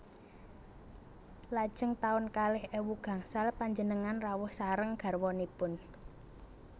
Lajeng taun kalih ewu gangsal panjenengan rawuh sareng garwanipun